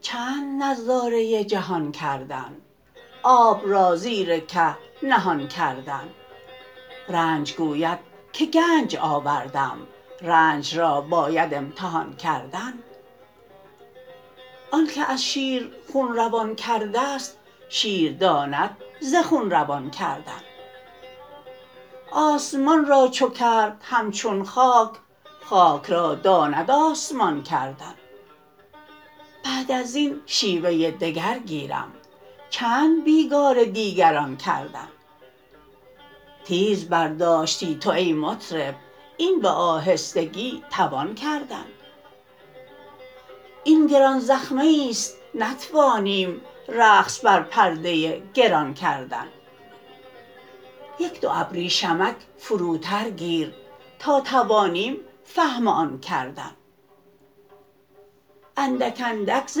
چند نظاره جهان کردن آب را زیر که نهان کردن رنج گوید که گنج آوردم رنج را باید امتحان کردن آنک از شیر خون روان کرده ست شیر داند ز خون روان کردن آسمان را چو کرد همچون خاک خاک را داند آسمان کردن بعد از این شیوه دگر گیرم چند بیگار دیگران کردن تیز برداشتی تو ای مطرب این به آهستگی توان کردن این گران زخمه ای است نتوانیم رقص بر پرده گران کردن یک دو ابریشمک فروتر گیر تا توانیم فهم آن کردن اندک اندک ز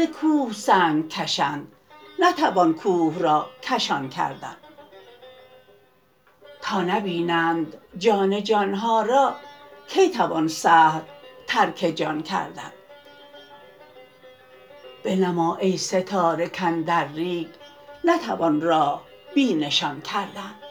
کوه سنگ کشند نتوان کوه را کشان کردن تا نبینند جان جان ها را کی توان سهل ترک جان کردن بنما ای ستاره کاندر ریگ نتوان راه بی نشان کردن